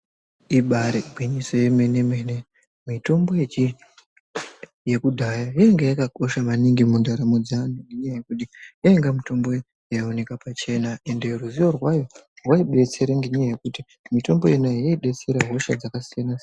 Ibaari gwinyiso remene-mene, mitombo yakudhaya yainge yakakosha maningi mundaramo dzeantu ngenyaya yekuti, yainga mitombo yaioneka pachena ende ruzivo rwayo rwaibetsera, ngenyaya yekuti, mitombo yona iyoyo yaibetsera hosha dzakasiyana-siyana.